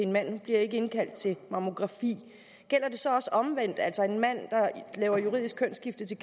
en mand ikke bliver indkaldt til mammografi gælder det så også omvendt altså at en mand der får juridisk kønsskifte til